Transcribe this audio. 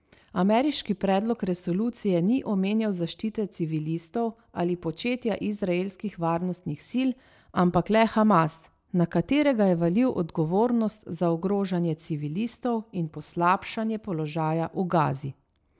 Ameriški predlog resolucije ni omenjal zaščite civilistov ali početja izraelskih varnostnih sil, ampak le Hamas, na katerega je valil odgovornost za ogrožanje civilistov in poslabšanje položaja v Gazi.